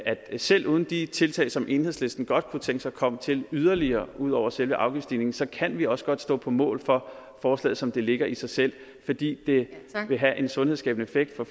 selv uden de tiltag som enhedslisten godt kunne tænke sig kom til yderligere ud over selve afgiftsstigningen så kan vi også godt stå på mål for forslaget som det ligger i sig selv fordi det vil have en sunhedsskabende effekt og